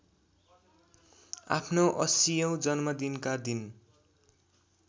आफ्नो ८० औं जन्मदिनका दिन